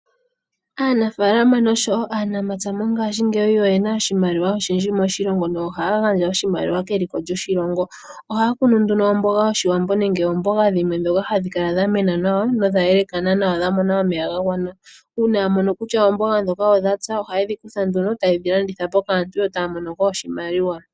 Aanafalama naanamapya mongaashi ngeyi oyo yena oshimaliwa oshindji moshilongo nohaya gandja oshimaliwa keliko lyoshilongo. Ohaya kunu nduno omboga yoshiwambo nenge oomboga dhimwe ndhoka hadhi kala dha mena nawa nodha yelekana nawa dha mona omeya ga gwana, uuna ya mono kutya oomboga ndhoka odhatsa ohayedhi kutha nduno tayedhi landithapo kaantu yo taya mono ko oshimaliwa.